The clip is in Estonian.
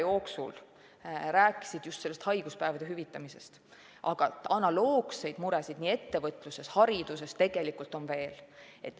Väga paljud inimesed rääkisid suve jooksul haiguspäevade hüvitamisest, aga analoogseid muresid on ettevõtluses ja hariduses tegelikult veel.